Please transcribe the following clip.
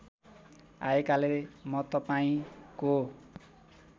आएकाले म तपाईँंको